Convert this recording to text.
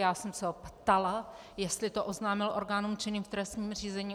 Já jsem se ho ptala, jestli to oznámil orgánům činným v trestním řízení.